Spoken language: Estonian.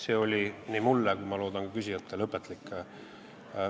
See oli nii mulle kui, ma loodan, ka küsijatele õpetlik.